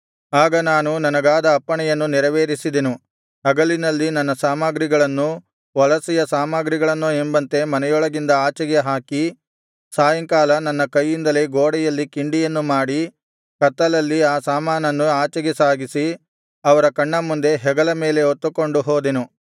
ಆಗ ನಾನು ನನಗಾದ ಅಪ್ಪಣೆಯನ್ನು ನೆರವೇರಿಸಿದೆನು ಹಗಲಿನಲ್ಲಿ ನನ್ನ ಸಾಮಗ್ರಿಗಳನ್ನು ವಲಸೆಯ ಸಾಮಗ್ರಿಯನ್ನೋ ಎಂಬಂತೆ ಮನೆಯೊಳಗಿಂದ ಆಚೆಗೆ ಹಾಕಿ ಸಾಯಂಕಾಲ ನನ್ನ ಕೈಯಿಂದಲೇ ಗೋಡೆಯಲ್ಲಿ ಕಿಂಡಿಯನ್ನು ಮಾಡಿ ಕತ್ತಲಲ್ಲಿ ಆ ಸಾಮಾನನ್ನು ಆಚೆಗೆ ಸಾಗಿಸಿ ಅವರ ಕಣ್ಣ ಮುಂದೆ ಹೆಗಲ ಮೇಲೆ ಹೊತ್ತುಕೊಂಡು ಹೋದೆನು